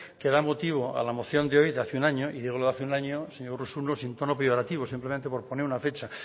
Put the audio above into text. que da motivo a la moción de hoy de hace un año y digo hace un año señor urruzuno sin tono peyorativo simplemente por poner una fecha